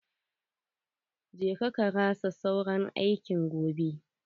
Je ka karasa sauran aikin gobe.